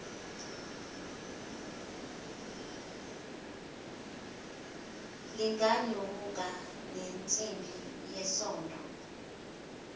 linganyomuka ensimbini yesondo